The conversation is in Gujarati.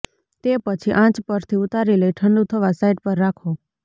તે પછી આંચ પરથી ઉતારી લઇ ઠંડુ થવા સાઇડ પર રાખો